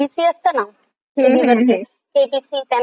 ते देखील त्यानंतर आणि ते कपिल शर्मा शो पण बघतो.